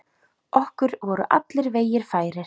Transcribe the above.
Okkur voru allir vegir færir.